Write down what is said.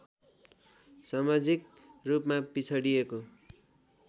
समाजिक रूपमा पिछडिएको